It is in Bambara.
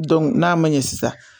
n'a ma ɲɛ sisan